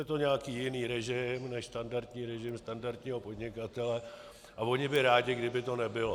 Je to nějaký jiný režim než standardní režim standardního podnikatele a oni by rádi, kdyby to nebylo.